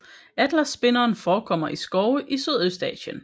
Atlasspinderen forekommer i skove i Sydøstasien